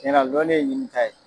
Cɛnna lɔnni ye ɲinita ye.